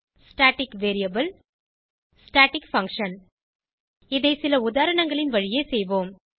static variable static function இதை சில உதாரணங்களின் வழியே செய்வோம்